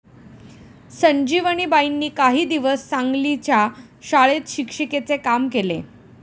संजीवनीबाईंनी काही दिवस सांगलीच्या शाळेत शिक्षिकेचे काम केले.